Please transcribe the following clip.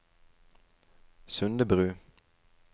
Sundebru